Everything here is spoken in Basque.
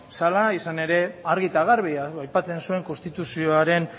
zela izan ere argi eta garbi aipatzen zuen konstituzioaren